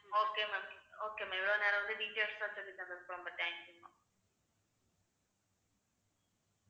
okay ma'am okay ma'am இவ்வளவு நேரம் வந்து details தந்ததுக்கு ரொம்ப ரொம்ப thanks ங்க ma'am